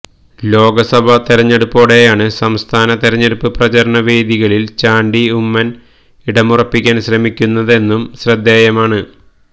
ലോക്സഭാ തെരഞ്ഞെടുപ്പോടെയാണ് സംസ്ഥാനത്തെ തെരഞ്ഞെടുപ്പ് പ്രചാരാണ വേദികളിൽ ചാണ്ടി ഉമ്മൻ ഇടമുറപ്പിക്കാൻ ശ്രമിക്കുന്നതെന്നതും ശ്രദ്ധേയമാണ്